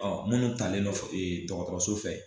Ɔ munnu talen no ee dɔgɔkɔrɔso fɛ